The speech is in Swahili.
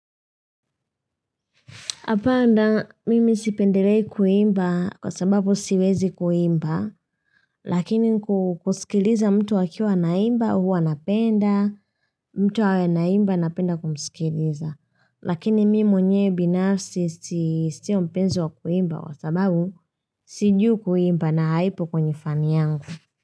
Hapana mimi sipendelei kuimba kwa sababu siwezi kuimba, lakini kusikiliza mtu akiwa naimba huwa napenda, mtu anaimba napenda kumusikiliza. Lakini mimi mwenyewe binafsi sio mpenzi wa kuimba kwa sababu sijui kuimba na haipo kwenye fani yangu.